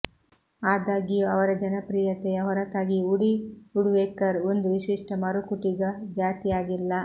ಆದಾಗ್ಯೂ ಅವರ ಜನಪ್ರಿಯತೆಯ ಹೊರತಾಗಿಯೂ ವುಡಿ ವುಡ್ಪೆಕರ್ ಒಂದು ವಿಶಿಷ್ಟ ಮರಕುಟಿಗ ಜಾತಿಯಾಗಿಲ್ಲ